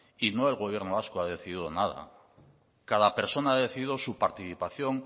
y no el gobierno vasco ha decidido nada cada persona ha decidido su participación